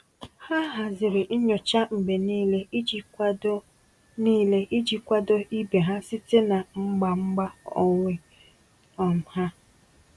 Ha haziri nyocha mgbe niile iji kwado niile iji kwado ibe ha site na mgba mgba onwe um ha.